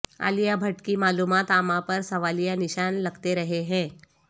عالیہ بھٹ کی معلومات عامہ پر سوالیہ نشان لگتے رہے ہیں